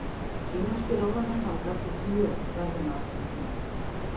Kínverskir ráðamenn hafa gagnrýnt mjög verðlaunaafhendinguna